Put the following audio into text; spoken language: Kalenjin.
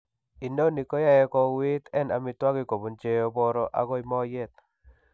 Inoni koyae ko uwiit en amitwogik kobun cheeboro agoy mooyet.